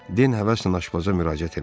Den həvəslə aşpaza müraciət elədi.